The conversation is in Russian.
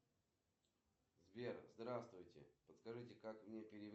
джой открой приложение банка и переведи мужу